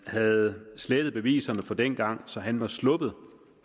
havde slettet beviserne fra dengang så han senere var sluppet